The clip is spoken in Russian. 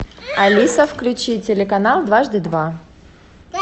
алиса включи телеканал дважды два